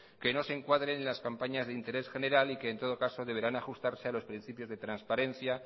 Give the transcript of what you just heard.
que no se encuadren en las campañas de interés general y que en todo caso deberán ajustarse a los principios de transparencia